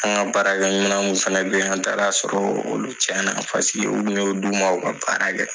An ŋa baarakɛminɛnw fɛnɛ be yan, an taara sɔrɔ olu cɛna paseke u kun y'o d'u ma u ka baara kɛ.